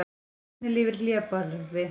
Hvernig lifir hlébarði?